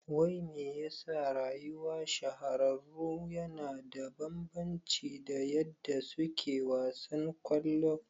Wai mai yasa rayuwa shahararru yana da bambanci da yadda suke a wasan kwallon?